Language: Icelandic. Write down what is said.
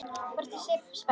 Hvort ég sé ekki spennt?